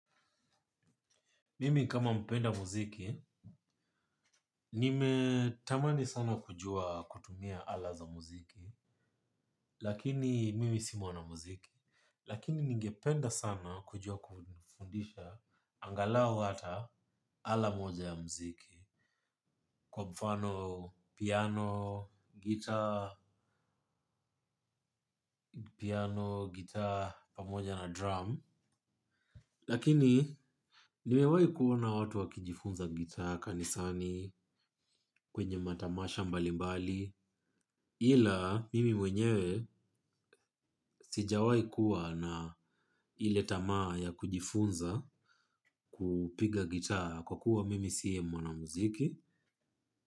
Mimi kama mpenda mziki, nimetamani sana kujua kutumia ala za muziki, lakini mimi si mwana muziki, lakini ningependa sana kujua kufundisha angalau hata ala moja ya muziki, kwa mfano piano, guitar, piano, guitar, pamoja na drum. Lakini nimewahi kuona na watu wakijifunza gitaa kanisani kwenye matamasha mbalimbali ila mimi mwenyewe sijawahi kuwa na ile tamaa ya kujifunza kupiga gitaa kwa kuwa mimi si mwana muziki.